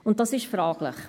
Dies ist fraglich.